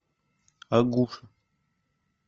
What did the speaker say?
агуша